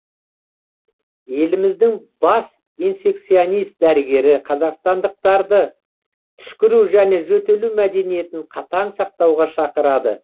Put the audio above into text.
еліміздің бас инфекционист дәрігері қазақстандықтарды түшкіру және жөтелу мәдениетін қатаң сақтауға шақырады